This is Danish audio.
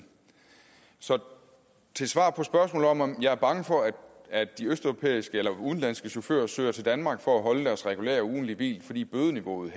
så svaret på spørgsmålet om om jeg er bange for at de udenlandske chauffører søger til danmark for at holde deres regulære ugentlige hvil fordi bødeniveauet